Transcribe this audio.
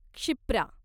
Kshipra